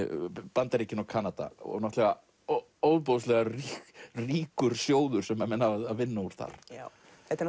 Bandaríkin og Kanada og náttúrulega ofboðslega ríkur sjóður sem menn hafa að vinna úr þar já þetta eru